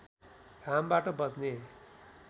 घामबाट बच्ने